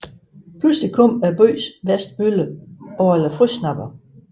Pludselig kommer byens værste bølle Orla Frøsnapper